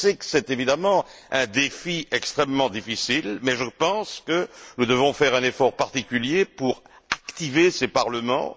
Je sais que c'est évidemment là un défi extrêmement important, mais je pense que nous devons faire un effort particulier pour stimuler ces parlements.